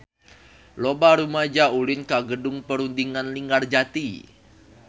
Loba rumaja ulin ka Gedung Perundingan Linggarjati